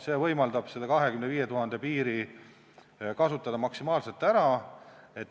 See võimaldab kasutada selle 25 000 piiri maksimaalselt ära.